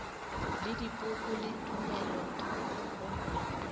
le dipoko le tumelothoko gomme